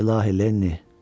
İlahi Lenni!